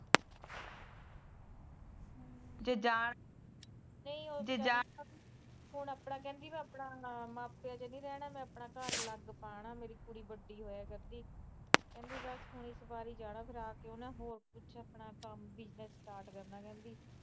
ਹੁਣ ਆਪਣਾ ਕਹਿੰਦੀ ਮੈ ਮਾਪਿਆਂ ਚ ਨੀ ਰਹਿਣਾਂ ਮੈ ਆਪਣਾ ਘਰ ਅਲੱਗ ਪਾਣਾ ਕੁੜੀ ਬੱਡੀ ਹੋਇਆ ਕਰਦੀ ਕਹਿੰਦੀ ਬਸ ਇੱਕ ਵਾਰ ਹੀ ਜਾਣਾ ਫਿਰ ਆਕੇ ਨਾ ਹੋਰ ਕੁਛ ਕੰਮ ਵੀ ਸੈਟ ਕਰ ਲੈਣਾ ਕਹਿੰਦੀ